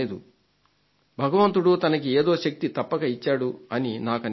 భగవంతుడు తనకు ఏదో శక్తి తప్పక ఇచ్చాడు అని నాకనిపిస్తోంది